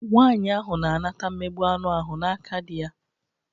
Nwaanyị ahụ na-anata mmegbụ anụ ahụ n'aka dị ya.